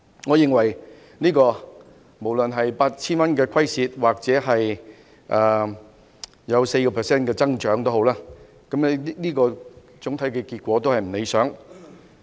我認為無論是虧蝕 8,000 元抑或有 4% 的增長，總體結果均不理想。